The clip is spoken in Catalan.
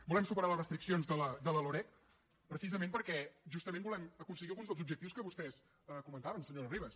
volem superar les restriccions de la loreg precisament perquè justament volem aconseguir alguns dels objectius que vostès comentaven senyora ribas